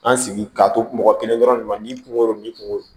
An sigi ka to mɔgɔ kelen dɔrɔn de ma ni kungo ni kungo